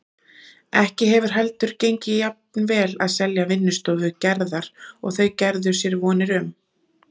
Ekki hefur heldur gengið jafnvel að selja vinnustofu Gerðar og þau gerðu sér vonir um.